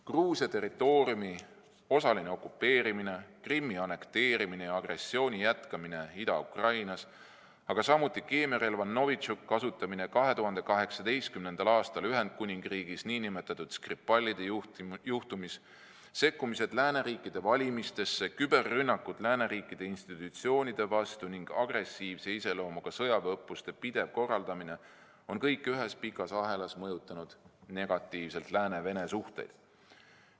Gruusia territooriumi osaline okupeerimine, Krimmi annekteerimine ja Ida-Ukrainas agressiooni jätkamine, samuti keemiarelva Novitšok kasutamine 2018. aastal Ühendkuningriigis nn Skripalide juhtumis, sekkumised lääneriikide valimistesse, küberrünnakud lääneriikide institutsioonide vastu ning agressiivse iseloomuga sõjaväeõppuste pidev korraldamine on kõik ühes pikas ahelas mõjutanud negatiivselt lääneriikide ja Venemaa suhteid.